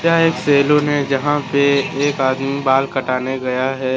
यह एक सैलून है जहां पे एक आदमी बाल कटाने गया है।